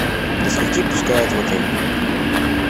до скольки пускают в отель